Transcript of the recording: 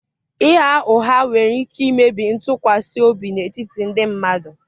ịgha ụgha nwere ike imebi ntụkwasị obi n'etiti ndị mmadụ